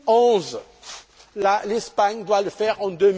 2011 l'Espagne doit le faire en